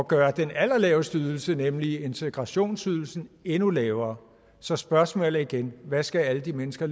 gøre den allerlaveste ydelse nemlig integrationsydelsen endnu lavere så spørgsmålet er igen hvad skal alle de mennesker